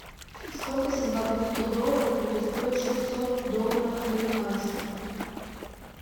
сколько сингапурских долларов будет стоить шестьсот долларов американских